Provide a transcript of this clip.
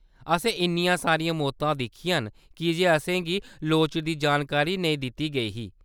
असें इन्नियां सारियां मौतां दिक्खियां न कीजे असेंगी लोड़चदी जानकारी नेईं दित्ती गेई ही।